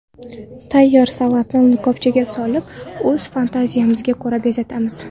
Tayyor salatni likopchaga solib, o‘z fantaziyamizga ko‘ra bezatamiz.